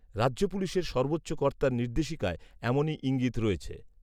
রাজ্য পুলিশের সর্বোচ্চ কর্তার নির্দেশিকায় এমনই ইঙ্গিত রয়েছে